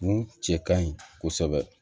Mun cɛ ka ɲi kosɛbɛ